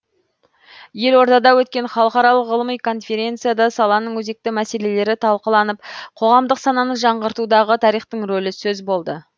елордада өткен халықаралық ғылыми конференцияда саланың өзекті мәселелері талқыланып қоғамдық сананы жаңғыртудағы тарихтың рөлі сөз болды